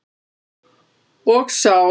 Og sár.